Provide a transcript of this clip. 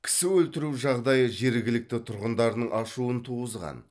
кісі өлтіру жағдайы жергілікті тұрғындардың ашуын туғызған